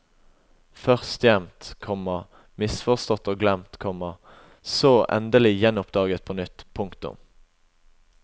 Først gjemt, komma misforstått og glemt, komma og så endelig gjenoppdaget på nytt. punktum